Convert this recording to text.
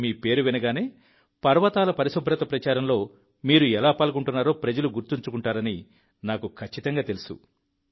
ఇప్పుడు మీ పేరు వినగానే పర్వతాల పరిశుభ్రత ప్రచారంలో మీరు ఎలా పాల్గొంటున్నారో ప్రజలు గుర్తుంచుకుంటారని నాకు ఖచ్చితంగా తెలుసు